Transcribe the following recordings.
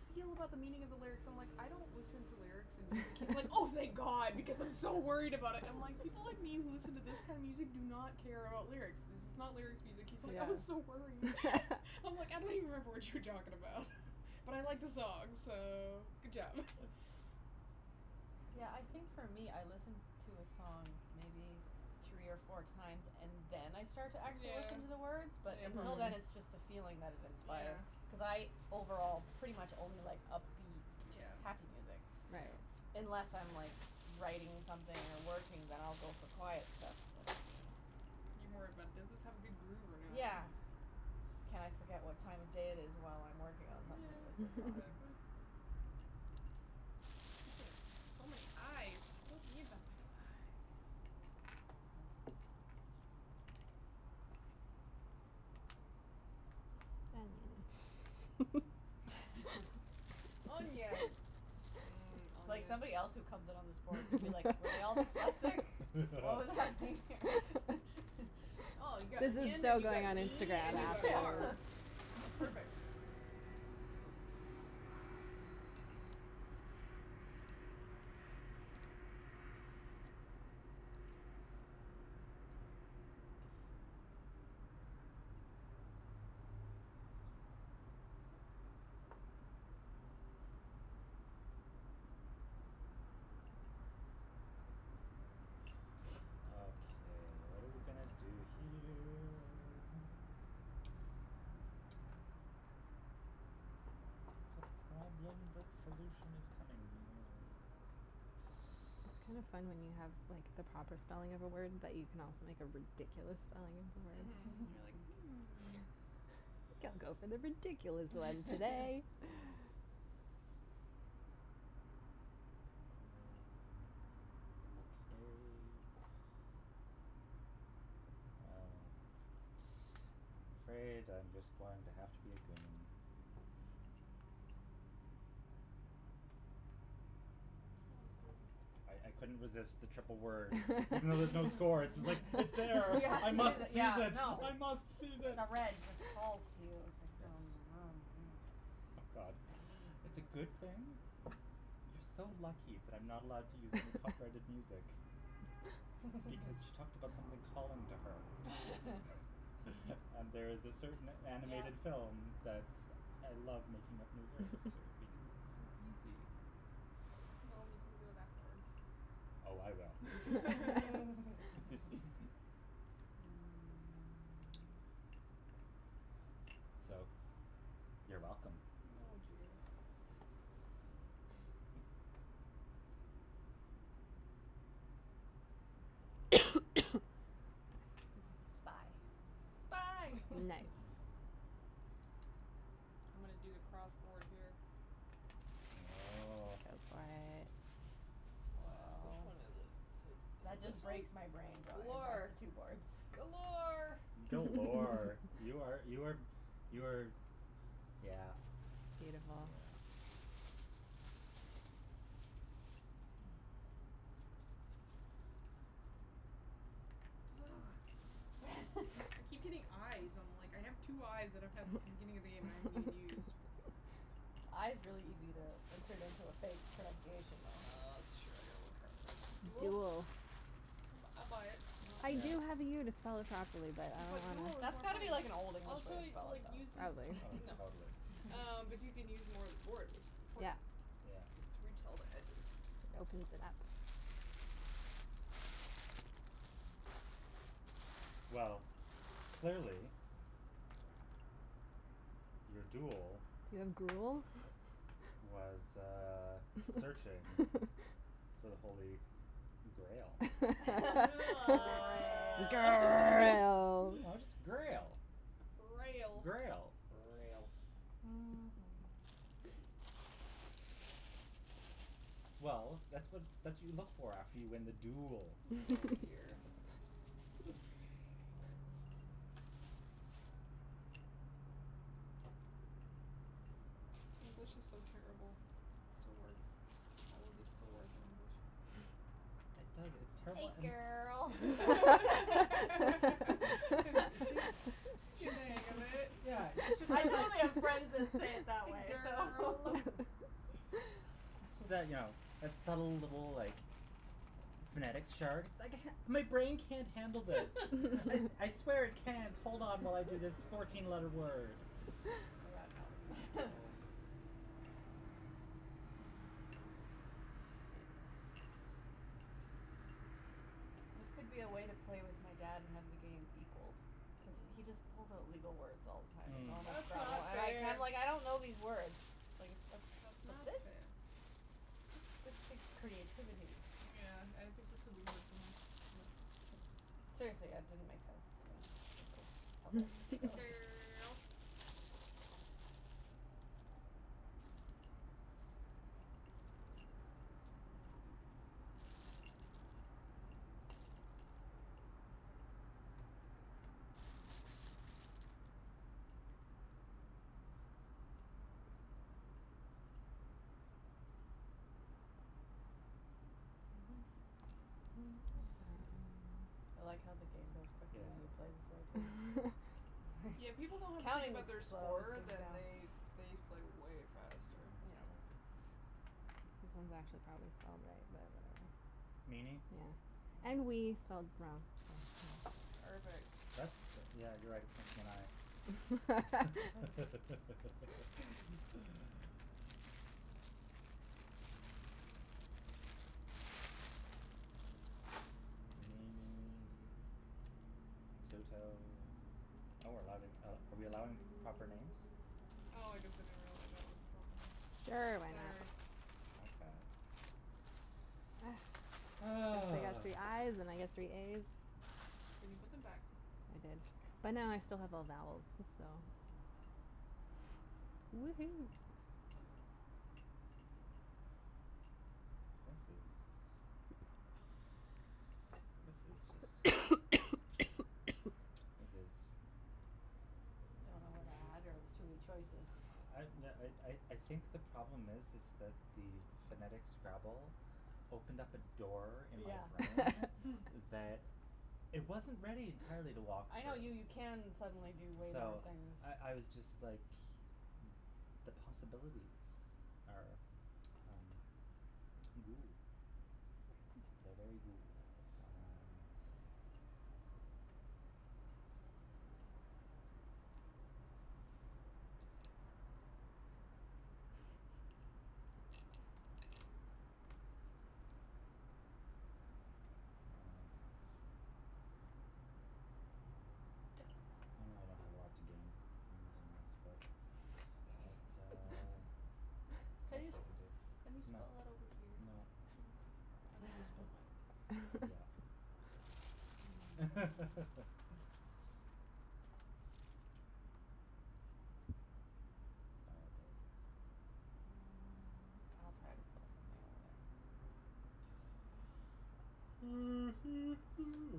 feel about the meaning of the lyrics? So I'm, like, I don't listen to lyrics in music. He's like, oh, thank god because I'm so worried about it. I'm like, people like me who listen to this kind of music do not care about lyrics, this is not lyrics music. He's like, I was so Yeah. worried. I'm like, I don't even remember what you were talking about, but I like the song, so, good job. Yeah, I think for me I listen to a song maybe three or four times and then I start to actually Yeah. listen to the words, but Yeah, until probably. then it's just the Mhm. feeling that it inspire. Yeah. Cuz I overall pretty much only like upbeat, Yeah. happy music, Right. Yeah. unless I'm like writing something or working, then I'll go for quiet stuff, but you know. Yeah. You're more about does this have a good groove or not? Yeah. Can I forget what time of day it is while I'm working on something Yeah, with this song. exactly. Look at that. So many i's. I don't need that many i's. Onion. Onion. Mmm, It's like onions. somebody else who comes in on this board is gonna be like, were they all dyslexic? What was happening here? Oh, you got This is onion so and you got going on knee Instagram and you got afterwards. are. That's perfect. Okay, what are we gonna do here? It's a problem that solution is coming near. It's kind of fun when you have, like the proper spelling of a word but you can also make a ridiculous spelling of the word. Mhm, you're like, hmm. I think I'll go for the ridiculous one today. Yes. Okay. Well, I'm afraid I'm just going to have to be a goon. Sounds good. I I couldn't resist the triple word. Even though there's no score, it's like, it's there, Yeah, I must seize yeah, it, no. I must seize it. No, red just calls you, it's like Yes. God, it's a good thing. You're so lucky that I'm not allowed to use any copyrighted music because she talked about something calling to her. And there's a certain Yeah. animated film that's I love making up new lyrics to because it's so easy. Well, we can do it afterwards. Oh, I will. Mm. So, you're welcome. Oh, dear. Spy. Spy. Mm. Nice. I'm gonna do the cross board here. Oh. Go for it. Wh- which Woah. one is it? Is it is That it this just one? breaks my brain going across Galore. the two boards. Galore. Galore. You are you are you are yeah, Beautiful. yeah. Ah. I keep getting i's. I'm, like, I have two i's that I've had since the beginning of the game that I haven't even used. I is really easy to insert into a fake pronunciation, though. That's true. I gotta work harder. Duel? Duel. I bu- I buy it. I Yeah. do have the u to spell it properly, but I But duel don't is That's more got to fun. be wanna. like an Old English way Also, to it spell like it, uses though. Probably. Oh, No, totally. um, but you can use more of the board, which is Yeah. important. Yeah. To reach all the edges. Opens it up. Well, clearly your duel was, uh, searching for the holy grail. Oh. Grail. No, just grail. Grail. Grail. Grail. Mhm. Well, that's what that's what you look for after you win the duel. Oh, dear. English is so terrible. It still works. All of these still work in English. It does, it's Hey, terrible and girl. You see, She's getting she's the hang of it. Yeah, she's just I kind of totally have friends that say it that way, so Girl. So you know, that subtle little, like, phonetics chart. My brain can't handle this. I I swear it can't hold on while I do this fourteen letter word. Yeah, no. This could be a way to play with my dad and have the game equalled cuz he just pulls Mm. out legal words all the time in Mm. normal That's Scrabble not and I'm like, fair. I'm like I don't know these words. Like, it's That's not specific. fair. This takes creativity. Yeah, I think this would be hard for him. Yeah. Seriously, it didn't make sense to me the first couple Hey, go's. girl. I like how the game goes quickly Yeah. when you play this way, too. Yeah, when people don't have to think Counting about their just slows score, things then down. they they play way faster. That's That's Yeah. true. true. This one's actually probably spelled right, but I don't know. Meanie. Yeah, and wee spelled wrong. Perfect. That's the, yeah, you're right, it's missing an i. Meanie. Pluto. Oh, we're allowing are we're allowing p- proper names? Oh, I guess I didn't realize that was a proper name. Sure, why not? Sorry. Okay. I got Ah. three i's and I got three a's. Did you put them back? I did, Mm. but now I still have all vowels, so Woohoo. This is This is just It is Don't know where to add, or there's too many choices? I yeah I I I think the problem is is that the phonetic Scrabble opened up a door in my Yeah. brain Mm. that it wasn't ready entirely to walk I through. know, you you can suddenly do way more So, things. I I was just, like, the possibilities are, um, goo. Hmm. They're very goo. Um Well. I know I don't have a lot to gain from using this, but it, uh, it's the Can best you I just can do. can you No. spell it over here? No. Okay. I guess I'll spell mine over here. Yeah. Sorry, babe. Mm. I'll try to spell something over there.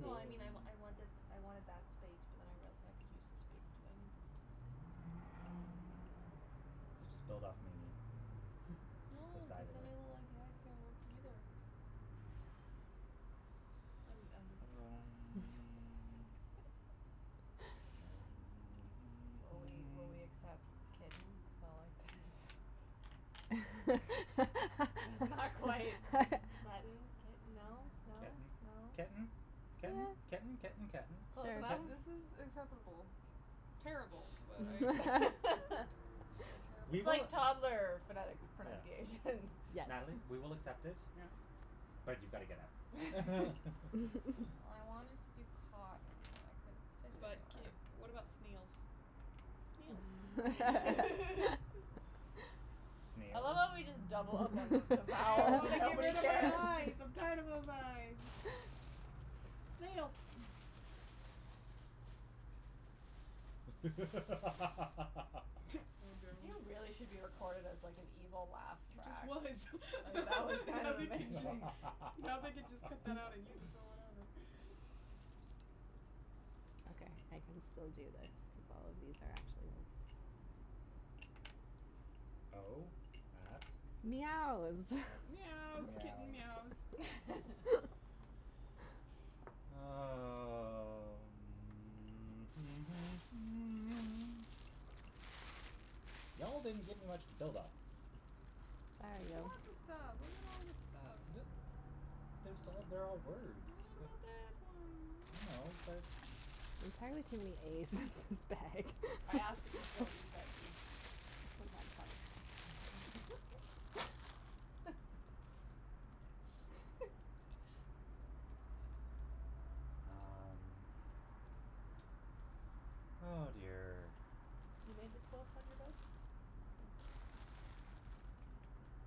No, I mean, I I want this, I wanted that space but then I realized I could use this space, too. I need this e. So just build off meanie, No, the cuz side of then it. it'll, like, it can't work, either. I'm I'm being Um a Will we will we accept kitten spelled like this? That's not quite. Sudden, kitten, no, no, Kitten, no? ketten, Yeah. ketten, ketten, ketten. Ketten. Sure. Close enough? Ketten. This is acceptable. Terrible, but I accept it. You're terrible. We It's will like toddler phonetics Yeah. pronunciation. Yes. Natalie, we will accept it, Yeah but you've got to get out. I wanted to to cotton, but I couldn't fit it But k anywhere. what about snails? Snails. I love Snails? how we just double up on the the I vowels want and to get nobody rid of my cares. i's. I'm tired of those i's. Snails. Oh, no. You really should be recorded as, like, an evil laugh He just track. was. Like, that was kind Now of they can just amazing. now they can just cut that out and use it for whatever. Okay, I can still do this cuz all of these are actually words. O at Meows. at Meows, kitten meows. meows. Um. Y'all didn't give me much to build off of. Sorry, There's yo. lots of stuff. Look at all this stuff. D- there's all they're all words. What about that one? I And that know, one but There's entirely too many a's in this bag. I ask that we don't use that d because I might find Um. Oh, dear. You made the quilt on your bed? Nice.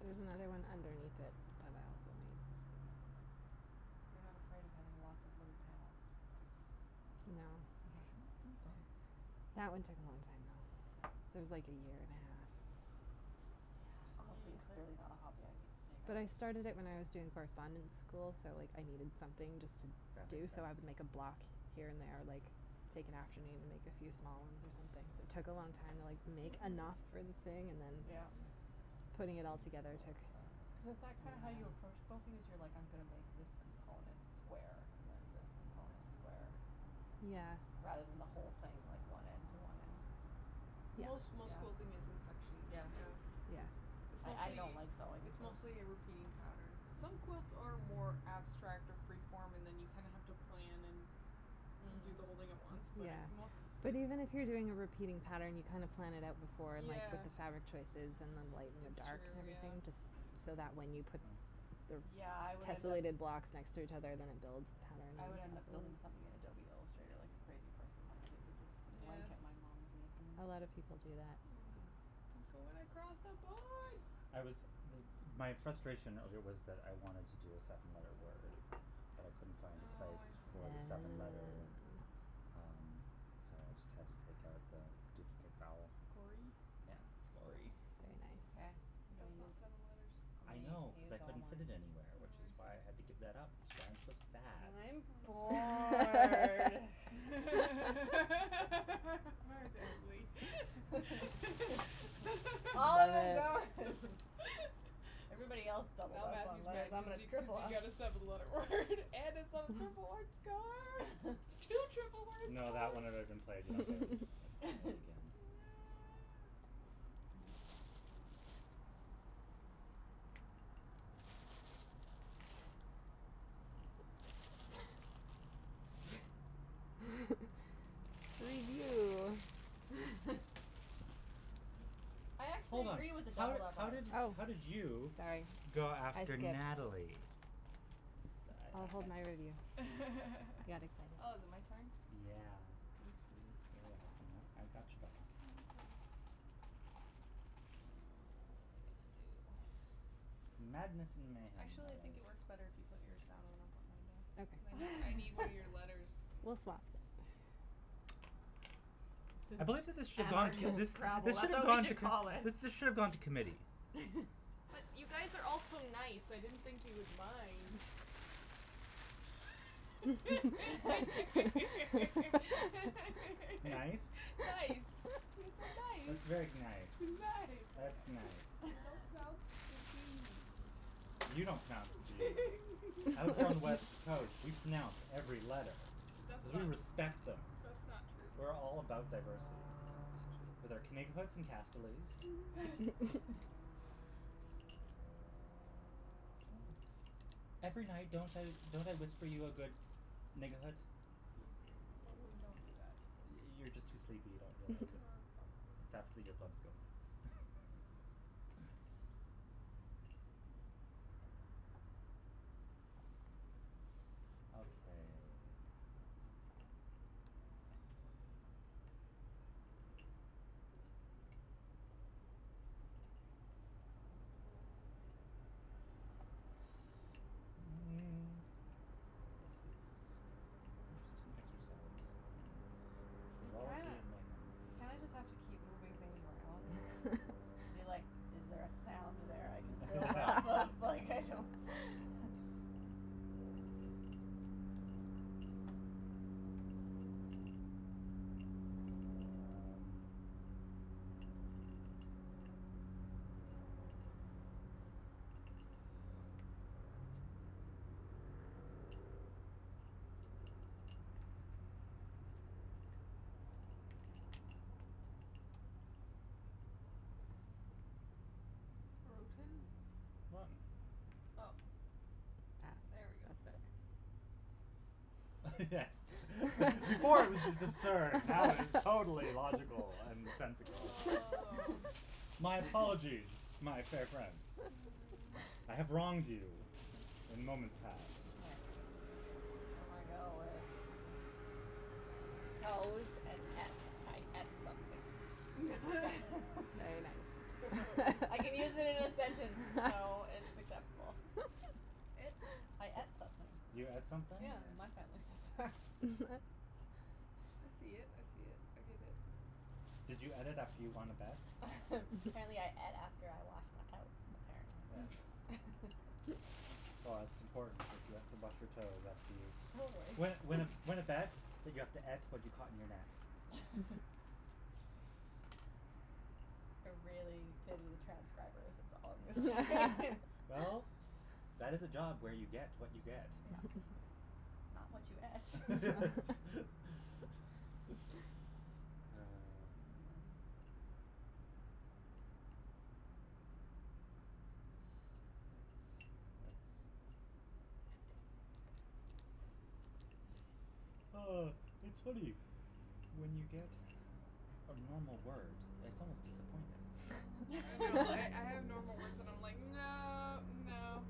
There's another one underneath it that I also made. You're not afraid of having lots of little panels? No. Sounds kinda fun. That one took a long time, though. That was like a year and a half. Quilting clearly Mm. not a hobby I need to take up. But I started it when I was doing correspondence school, so like I needed something just to That do, makes so sense. I would make a block here and there, like, take an afternoon, make a few small ones or something. Took a long time to, like, make Mhm. Mhm. enough for the thing and then Yeah. putting it all Three, together took, four, Cuz yeah. is that five. kind of how you approach quilting, is you're like, I'm gonna make this component square and then this component square Yeah. rather than the whole thing, like, one end to one end? Yeah. Most most Yeah? school thing is in sections, Yeah. yeah. Yeah. It's I I don't mostly, like sewing, it's so mostly a repeating pattern. Some quilts are more abstract or freeform and then you kinda have to plan and do Mm. the whole thing at once, but I Yeah, most but even if you're doing a repeating pattern, you kind of plan it out before and, like, pick Yeah. the fabric choices and then lighten and It's dark and true, everything yeah. just so that when you put Hmm. the Yeah, I would end up tessolated blocks next to each other, then it builds the pattern. I would end up building something in Adobe Illustrator like a crazy person, like I did with this Yes. blanket my mom's making me. A lot of people do that. Yeah. Yeah. You're going across the board. I was m- my frustration earlier was that I wanted to do a seven letter word, but I couldn't find a Oh, I place see. for the seven letter, Oh. um, so I just had to take out the duplicate vowel. Gory? Yeah, it's gory. Very Okay, nice. I'm But gonna that's not use seven letters. I'm I gonna know u- cuz use I all couldn't mine. fit it anywhere, which is Oh, I why I had to see. give that up, which is why I'm so sad. And I'm bored. Oh, Natalie. All them are Good. gone. Everybody else doubled Now up on Matthew's letters. mad And I'm cuz gonna you cuz triple you up. got a seven letter word and it's on a triple word score. Two triple word No, that scores. one had already been played. You don't get it it it again. Yeah. Review. I actually Hold on, agree with the how did doubled up how Oh, letters. did how did you sorry. go I after skipped. Natalie? I I'll I I hold my review. I got Oh, is it my excited. turn? Yeah. Thanks, sweetie. You're welcome. I I got your back. Thank you. Oh, what am I gonna do? Madness and mayhem, my Actually, I think love. it works better if you put yours down when I put mine down. Cuz I need I need one Okay. of your letters. We'll swap. I believe that this should gone Anarchist this Scrabble, this should that's have what we gone t- should call it. this should have gone to committee. But you guys are all so nice, I didn't think you would mind. Nice. Nice, you're Nice. That's so very nice. nice. Nice. That's nice. You don't pronounce the d. You don't pronounce the zee. Out here on the west coast, we pronounce every letter That's cuz we not respect them. that's not We're all true. about That's diversity. not With true. our Every night, don't I don't I whisper you a good? You totally don't do that. You you're just too sleepy, you Ah, don't realize it. It's after probably. earplugs go. Okay. This is an interesting exercise in You kinda frivolity and mayhem. you kinda just have to keep moving things around Yeah and be like, is there a sound there I can build Yeah. off of? Like, I don't Um Broten? Rotten. Oh, Ah. there we go. That's better. Yes. Before it was just absurd. Now it is totally logical and sensical. Oh. My apologize, my fair friends. Mm. I have wronged you in moments past. Okay, I'm gonna go with toes and et. I et something. Very nice. I can use Toes. it in a sentence, so it's acceptable. I et something. You et Yeah. something? Yeah, my family says that. I see it, I see it, I give it. Did you et it after you won a bet? Apparently I et after I washed my toes, Yes. apparently. Well, it's important because you have to wash your toes after you Totally. Win win a win a bet, but you have to et to what you caught in your net. I really pity the transcribers, that's all I'm gonna say. Oh. Well, that is a job where you get what you get. Yeah. Not what you et. Ah. Yes, it's Oh, it's funny. When you get a normal word, it's almost disappointing. I know. I I have normal words and I'm like, no, no.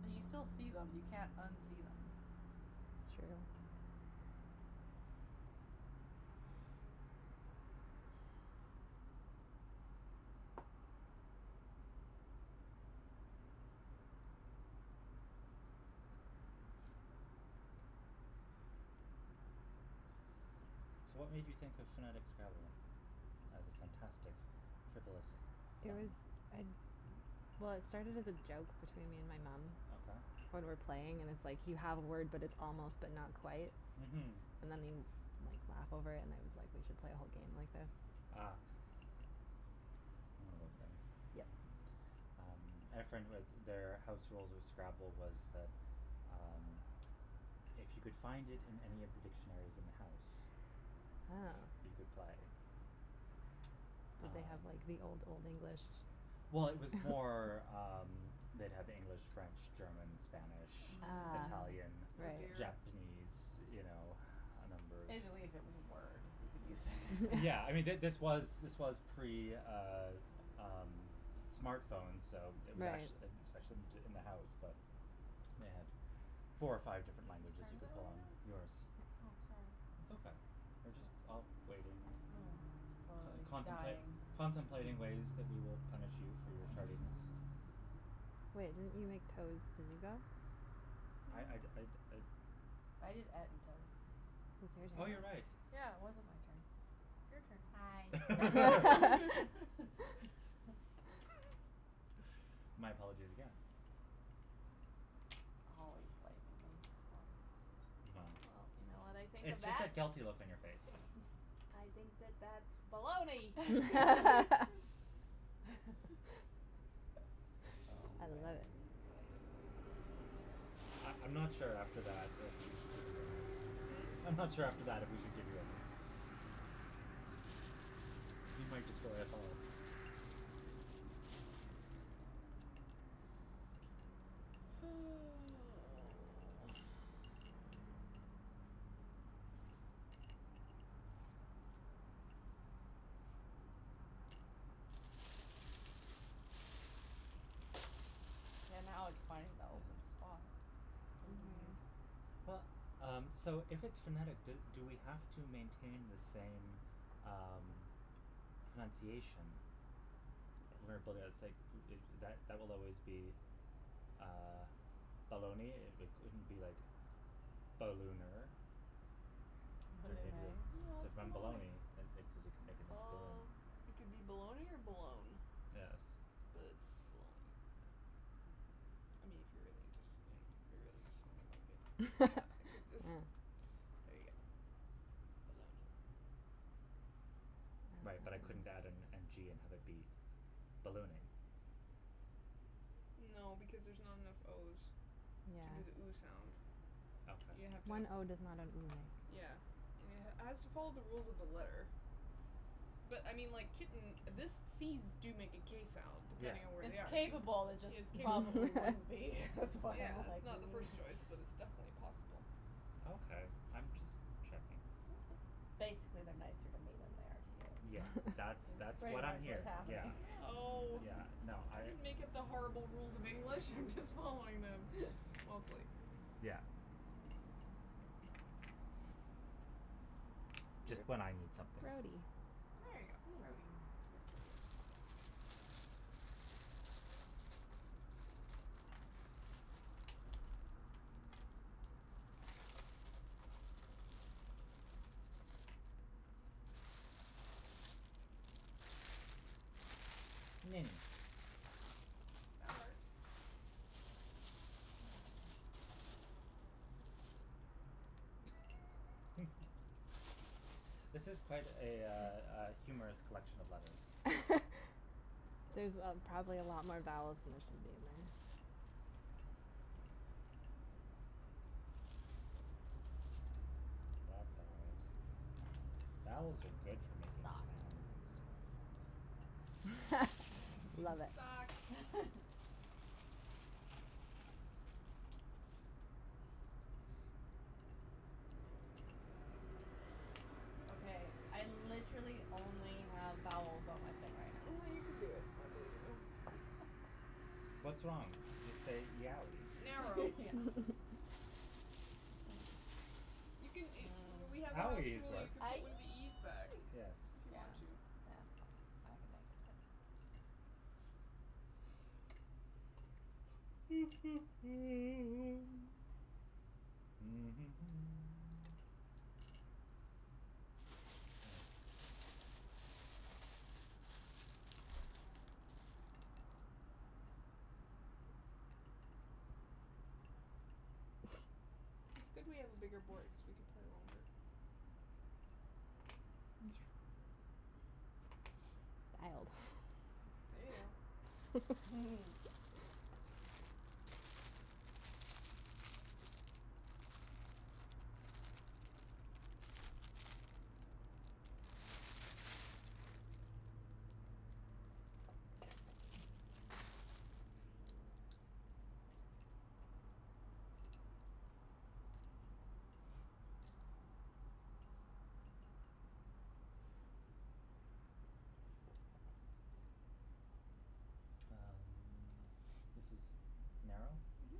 But you still see them. You can't unsee them. It's true. So, what made you think of phonetic Scrabble as a fantastic frivolous It fun? was I, well, it started as a joke between me and my mom. Okay. When we're playing and it's like you have a word but it's almost but not quite Mhm. and then you, like, laugh over and I was like, we should play a whole game like this. Ah. One of those things. Yeah. Yep. Um, I had a friend who had their house rules of Scrabble was that, um, if you could find it in any of the dictionaries in the house, you Oh. could play. Did they have, Um like, the Old Old English? Well, it was more, um, they'd have English, French, German, Spanish, Ah. Italian, Mm. Oh, Right. dear. Japanese, you know, a number If of they believe it was a word, you could use it. Yeah, I mean, th- this was this was pre, uh um, smartphones, so it was Right. ac- it was Mhm. actually in the house, but they had four or five Whose different languages turn you is it could pull right on. now? Yours. Oh, sorry. It's okay, we're just all waiting, Mm. Slowly contempla- dying. contemplating ways that we will punish you for your tardiness. Wait, didn't you make toes? Did you go? I I'd I'd Mm. I'd I did et and toe. So it's Oh, your you're right. turn. Yeah, it wasn't my turn. It's Hi. your turn. My apologies again. Always blaming me, always. Well, Well, you know what I think of it's just that? that guilty look on your face. I think that that's baloney. Oh, I love it. man. Can I have some, please? I I'm not sure after that if we should give you any. Hmm? I'm not sure after that if we should give you any. You might destroy us all. Oh. Yeah, now Yes. it's funny though, cuz Mhm. Well, um, so if it's phonetic, do do we have to maintain the same, um, pronunciation. Where b- Yes. it's like that that that will always be, uh, baloney. It it couldn't be like ballooner. Turn it into Balloonay. No, So it's then baloney. baloney and it cuz you can make it into balloon. Bal- it could be baloney or balone, Yes. but it's baloney. Yeah. I mean, if you're really just, you know, if you really just want to make it that, you could just Yeah. Mm. There you go. Baloney. Right, but I couldn't add an n g and have it be ballooning. No because there's not enough o's Yeah. to do the ooh sound. You have to Okay. have One o does not an ooh make. Yeah. has to follow the rules of the letter. But, I mean, like, kitten, this c's do make a k sound Yeah. depending on where It's they are. capable, it Yes, just capable. probably wouldn't be. That's why Yeah, I'm it's like not the first choice, but it's definitely possible. Okay. I'm just checking. Okay. Basically, they're nicer to me than they are to Yeah, you. that's That's that's pretty what I'm much what's hearing. Yeah, happening. Oh. yeah, no, I I didn't make up the horrible rules of English, I'm just following them. Mostly. Yeah. Just when I need something. Grody. There you go, grody. Yeah, there you go. Mini. That works. This is quite a, uh, uh, humorous collection of letters. There's probably a lot more vowels than there should be there. That's all right. Vowels are good for making sounds and stuff. Love it. Socks. Okay, I literally only have vowels on my thing I right now. know you can do it. I believe in you. What's wrong? Just say yowee. Narrow. You can a W- we had a house Owee is rule, you work. can put one of Aeeee. the e's back. Yes. If you Yeah, want to. yeah, that's fine, I can make it. Yes. It's good we have a bigger board cuz we can play longer. It's true. Dialed. There you go. Um, this is narrow? Mhm.